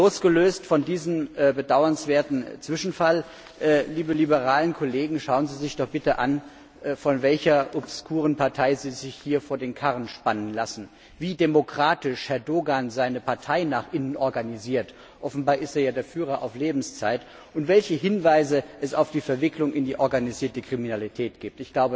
Losgelöst von diesem bedauernswerten Zwischenfall, liebe liberale Kollegen, schauen Sie sich doch bitte an, von welcher obskuren Partei Sie sich hier vor den Karren spannen lassen, wie demokratisch Herr Doğan seine Partei nach innen organisiert offenbar ist er ja der Führer auf Lebenszeit und welche Hinweise es auf die Verwicklung in die organisierte Kriminalität gibt.